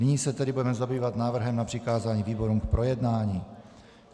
Nyní se tedy budeme zabývat návrhem na přikázání výborům k projednání.